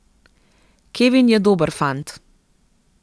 Kevin je dober fant.